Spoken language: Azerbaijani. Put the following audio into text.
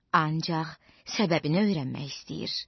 Ancaq səbəbini öyrənmək istəyir.